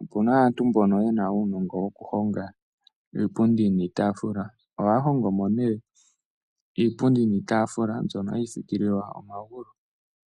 Opuna aantu mbono yena uunongo wokuhonga iipundi niitaafula. Ohaya hongomo nee iipundi niitaafula, mbyono hayi thikililwa omagulu.